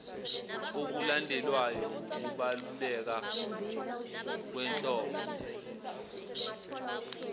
okulandelwayo wukubaluleka kwenhlobo